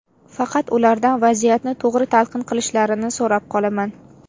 Faqat ulardan vaziyatni to‘g‘ri talqin qilishlarini so‘rab qolaman.